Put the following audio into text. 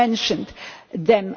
You mentioned them.